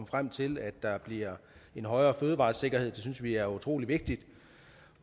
frem til at der bliver en højere fødevaresikkerhed det synes vi er utrolig vigtigt